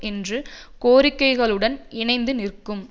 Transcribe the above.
என்று கோரிக்கைகளுடன் இணைந்து நிற்கும்